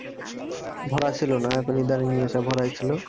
ভরা ছিল না এখন